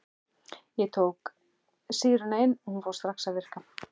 Ég tók sýruna inn og hún fór strax að virka.